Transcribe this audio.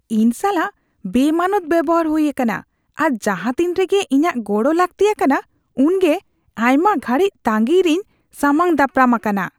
ᱤᱧ ᱥᱟᱞᱟᱜ ᱵᱮᱼᱢᱟᱱᱚᱛ ᱵᱮᱣᱦᱟᱨ ᱦᱩᱭ ᱟᱠᱟᱱᱟ ᱟᱨ ᱡᱟᱦᱟᱛᱤᱱ ᱨᱮᱜᱮ ᱤᱧᱟᱜ ᱜᱚᱲᱚ ᱞᱟᱹᱠᱛᱤ ᱟᱠᱟᱱᱟ ᱩᱱᱜᱮ ᱟᱭᱢᱟ ᱜᱷᱟᱹᱲᱤᱡ ᱛᱟᱸᱜᱤᱭ ᱨᱮᱧ ᱥᱟᱢᱟᱝ ᱫᱟᱯᱨᱟᱢ ᱟᱠᱟᱱᱟ ᱾